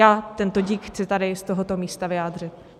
Já tento dík chci tady z tohoto místa vyjádřit.